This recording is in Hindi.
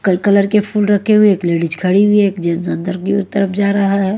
कल कलर के फूल रखे हुए एक लेडिज खड़ी हुई है एक जेंट्स अंदर की ओर तरफ जा रहा है।